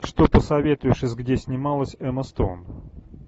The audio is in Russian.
что посоветуешь из где снималась эмма стоун